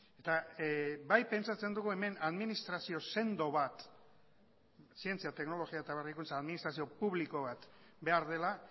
eta bai pentsatzen dugu hemen administrazio sendo bat zientzia teknologia eta berrikuntza administrazio publiko bat behar dela